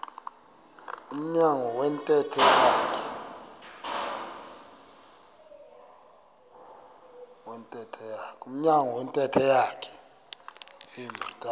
emnyango wentente yakhe